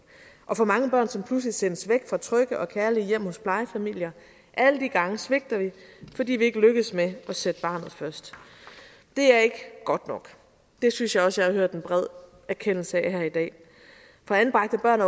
og for mange børn som pludselig sendes væk fra trygge og kærlige hjem hos plejefamilier alle de gange svigter vi fordi vi ikke lykkes med at sætte barnet først det er ikke godt nok det synes jeg også jeg har hørt en bred erkendelse af her i dag for anbragte børn